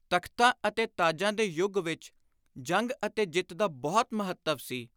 ਤਖ਼ਤਾਂ ਅਤੇ ਤਾਜਾਂ ਦੇ ਯੁਗ ਵਿਚ ਜੰਗ ਅਤੇ ਜਿੱਤ ਦਾ ਬਹੁਤ ਮਹੱਤਵ ਸੀ।